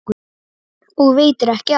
Og veitir ekki af!